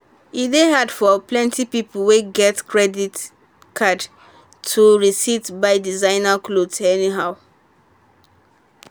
e dey hard for plenty people wey get credit card to um resist buy designer cloth anyhow.